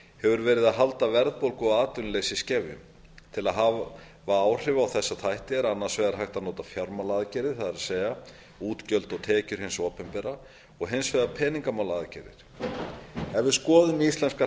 hefur verið að halda verðbólgu og atvinnuleysi í skefjum til að hafa áhrif á þessa þætti er annars vegar hægt að nota fjármálaaðgerðir það er útgjöld og tekjur hins opinbera og hins vegar peningamálaaðgerðir ef við skoðum íslenskar